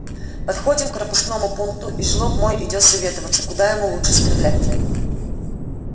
подходим к пропускному пункту и жлоб мой идёт советоваться куда ему лучше стрелять